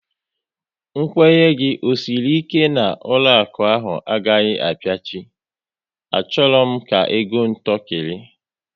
Nkwenye gị ọ sịrị ike na ụlọakụ ahụ agaghị apiachi? A chọrọ m ka ego m tọkiri